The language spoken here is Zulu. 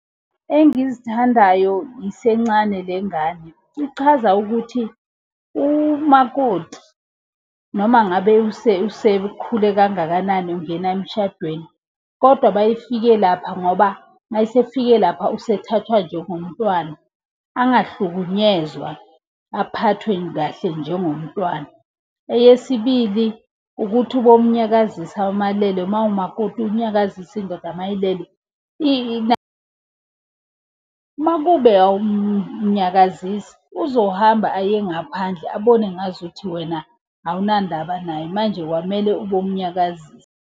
Engizithandayo isencane lengane, ichaza ukuthi, umakoti noma ngabe usekhule kangakanani ungena emshadweni kodwa uma efike lapha ngoba uma esefikile lapha usemthatha njengomntwana. Angahlukunyezwa aphathwe kahle njengomntwana. Eyesibili, ukuthi ubomunyakazisa uma elele, uma umakoti unyakazise indoda uma ilele . Makube awumnyakazisi, uzohamba aye ngaphandle abone ngazuthi wena awunandaba naye manje kwamele ubomunyakazisa.